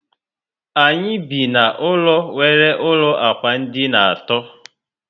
Anyị bi na ụlọ nwere ụlọ ákwà dina àtó